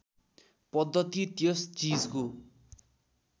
पद्धति त्यस चिजको